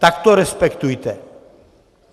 Tak to respektujte!